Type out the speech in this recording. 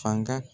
Fanga